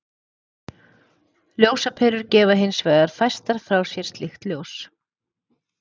Ljósaperur gefa hins vegar fæstar frá sér slíkt ljós.